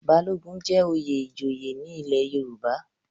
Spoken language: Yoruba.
Balogun jẹ́ oyè ìjòyè ní ilé Yorùbá.